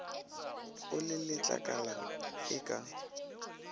o le letlakala e ke